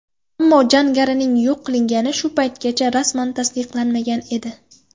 Ammo jangarining yo‘q qilingani shu paytgacha rasman tasdiqlanmagan edi.